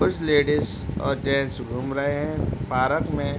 कुछ लेडिज और जेन्ट्स घुम रहे हैं पारक में।